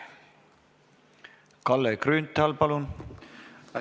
Kalle Grünthal, palun!